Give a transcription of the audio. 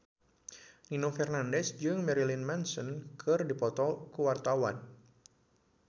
Nino Fernandez jeung Marilyn Manson keur dipoto ku wartawan